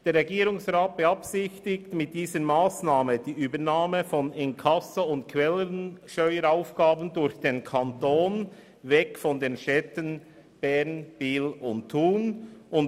Der Regierungsrat beabsichtigt mit dieser Massnahme, die Inkasso- und Quellensteueraufgaben von den Städten Bern, Biel und Thun wegzunehmen und diese zukünftig durch den Kanton auszuführen.